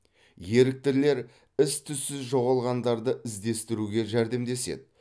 еріктілер із түзсіз жоғалғандарды іздестіруге жәрдемдеседі